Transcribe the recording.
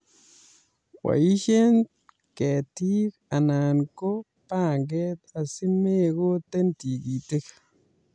Boisie ketiik anan no panget asi mekooten tikitik